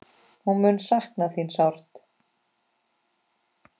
Hún mun sakna þín sárt.